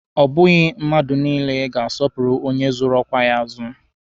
Ọ bụghị mmadụ niile ga-asọpụrụ onye zụrụ ọkwa ya azụ